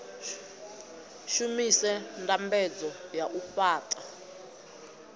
shumise ndambedzo ya u fhaṱa